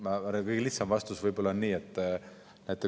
Ma arvan, et kõige lihtsam vastus on selline.